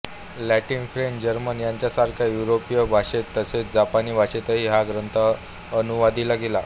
Latin French German ह्यांसारख्या युरोपीय भाषांत तसेच जपानी भाषेतही हा गंथ अनुवादिला गेला